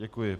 Děkuji.